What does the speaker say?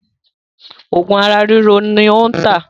Òògùn ara ríro ni ó ń tà